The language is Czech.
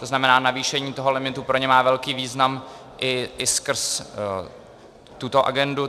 To znamená, navýšení toho limitu pro ně má velký význam i skrz tuto agendu.